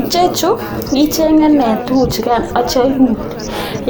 Ichechu ichenge nee chukuchukan akitio iun,